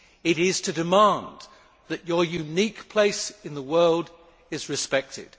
It is to demand that your unique place in the world is respected.